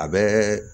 A bɛ